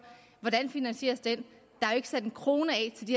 skal finansieres det er jo ikke sat en krone